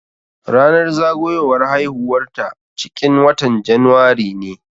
Ranar zagowar haihuwar ta ciƙin watan januari ne.